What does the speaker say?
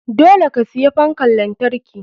Dole ka siya fankan lantarki.